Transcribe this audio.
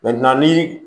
ni